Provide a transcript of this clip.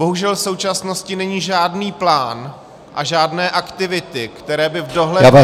Bohužel v současnosti není žádný plán a žádné aktivity, které by v dohledné době -